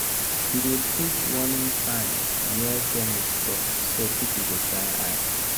he dey put warning sign near chemist store so people go shine eye.